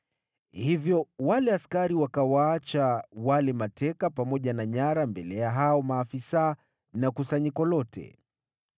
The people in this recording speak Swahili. Hivyo wale askari wakawaacha wale mateka pamoja na nyara mbele ya hao maafisa na kusanyiko lote.